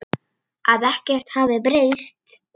Að ekkert hefði breyst.